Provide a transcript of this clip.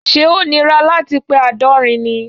Ṣẹ́ ó nira láti pe àádọ́rin ni?